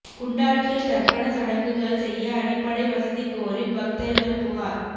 குண்டாற்றில் தர்ப்பண சடங்குகள் செய்ய அடிப்படை வசதிக் கோரி பக்தர்கள் புகார்